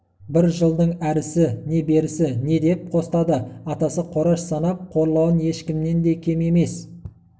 бір жылдың әрісі не берісі не деп қостады атасы қораш санап қорлауын ешкімнен де кем емес